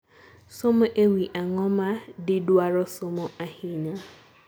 somo e wi ang'o ma didwaro somo ahinya